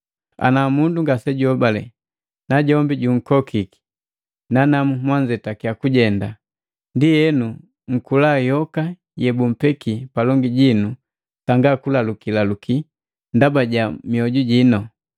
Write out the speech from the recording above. Ana mundu ngasejuhobale najukokiki nanamu nanzetaki kujenda, ndienu nkula yoka yebummbeki palongi jinu sanga kulalukilaluki ndaba ja mioju jino.